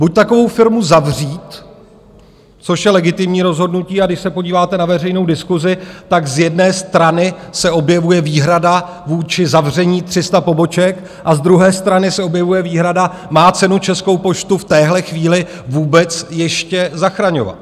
Buď takovou firmu zavřít, což je legitimní rozhodnutí, a když se podíváte na veřejnou diskusi, tak z jedné strany se objevuje výhrada vůči zavření 300 poboček a z druhé strany se objevuje výhrada - má cenu Českou poštu v téhle chvíli vůbec ještě zachraňovat?